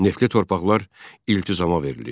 Neftli torpaqlar iltizama verilirdi.